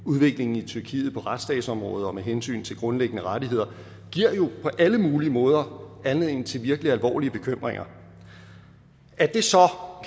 udviklingen i tyrkiet på retsstatsområdet og med hensyn til grundlæggende rettigheder giver jo på alle mulige måder anledning til virkelig alvorlige bekymringer er det så